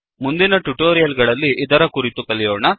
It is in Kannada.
ಮುಂದಿನ ಟ್ಯುಟೋರಿಯಲ್ ಗಳಲ್ಲಿ ಇದರ ಕುರಿತು ಕಲಿಯೋಣ